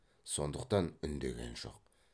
сондықтан үндеген жоқ